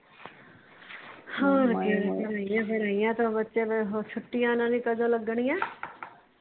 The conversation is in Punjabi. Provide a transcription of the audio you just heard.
ਬੱਚਿਆਂ ਨੂੰ ਛੁੱਟੀਆਂ ਓਹਨਾ ਦੀਆ ਕਦੋ ਲੱਗਣੀਆਂ